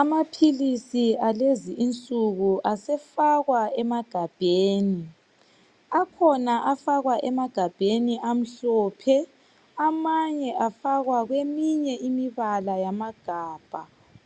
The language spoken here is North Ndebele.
Amaphilisi alezi insuku asefakwa emagabheni. Akhona afakwa emagabheni amhlophe, amanye afakwa kweminye imibala yamagabha.